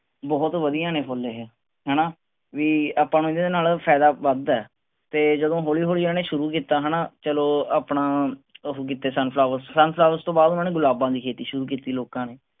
ਬਹੁਤ ਵਧਿਆ ਨੇ ਇਹ ਫੁੱਲ ਏਹੇ ਹੈਨਾ ਵੀ ਆਪਾਂ ਨੂੰ ਇਹਦੇ ਨਾਲ ਫਾਇਦਾ ਵੱਧ ਆ ਤੇ ਜਦੋਂ ਹੌਲੀ ਹੌਲੀ ਇਹਨਾਂ ਨੇ ਸ਼ੁਰੂ ਕਿੱਤਾ ਹੈਨਾ ਚਲੋ ਆਪਣਾ ਓਹੋ ਕਿੱਤੇ sun flowers, sun flowers ਤੋਂ ਬਾਅਦ ਹੁਣ ਗੁਲਾਬਾਂ ਦੀ ਖੇਤੀ ਸ਼ੁਰੂ ਕਿੱਤੀ ਲੋਕਾਂ ਨੇ